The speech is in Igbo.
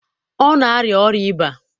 ọ na-arịa ọrịa ịba.